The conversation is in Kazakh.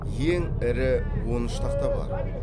ең ірі он үш тақта бар